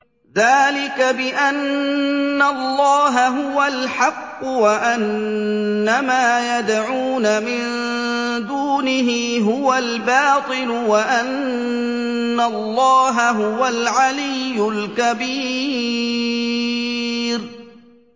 ذَٰلِكَ بِأَنَّ اللَّهَ هُوَ الْحَقُّ وَأَنَّ مَا يَدْعُونَ مِن دُونِهِ هُوَ الْبَاطِلُ وَأَنَّ اللَّهَ هُوَ الْعَلِيُّ الْكَبِيرُ